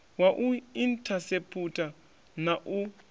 wa u inthaseputha na u